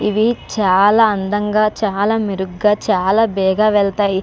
ఇవి చాలా అందంగా చాలా మెరుగ్గా చాలా బేగా వెళ్తాయి.